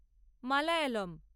Malayalam